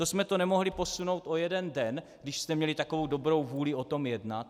To jsme to nemohli posunout o jeden den, když jste měli takovou dobrou vůli o tom jednat?